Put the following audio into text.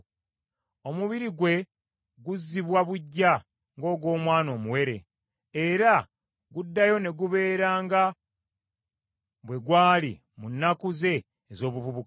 omubiri gwe guzzibwa buggya ng’ogw’omwana omuwere, era guddayo ne gubeera nga bwe gwali mu nnaku ze ez’obuvubuka.